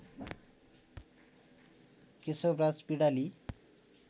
Keshavraj Pindali